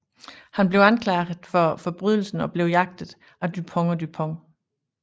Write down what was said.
Han bliver anklaget for forbrydelsen og bliver jaget af Dupond og Dupont